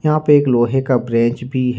यहां पे एक लोहे का ब्रेंच भी है।